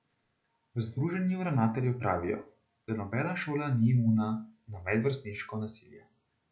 V združenju ravnateljev pravijo, da nobena šola ni imuna na medvrstniško nasilje.